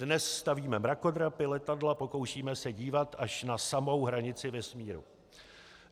Dnes stavíme mrakodrapy, letadla, pokoušíme se dívat až na samou hranici Vesmíru.